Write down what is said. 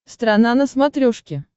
страна на смотрешке